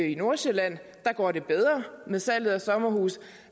i nordsjælland går det bedre med salg af sommerhuse